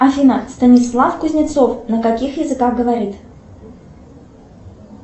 афина станислав кузнецов на каких языках говорит